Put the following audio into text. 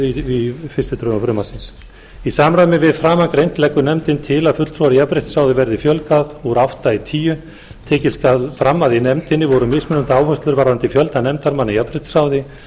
í fyrstu drögum frumvarpsins í samræmi við framangreint leggur nefndin til að fulltrúum í jafnréttisráði verði fjölgað úr átta í tíu tekið skal fram að í nefndinni voru mismunandi áherslur varðandi fjölda nefndarmanna í jafnréttisráði